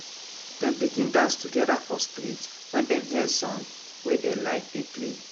dem begin dance together for street when dem hear song wey dey like dey play